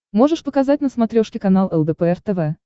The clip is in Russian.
можешь показать на смотрешке канал лдпр тв